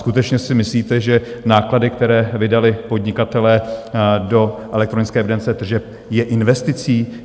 Skutečně si myslíte, že náklady, které vydali podnikatelé do elektronické evidence tržeb, jsou investicí?